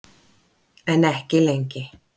En ekki lengi.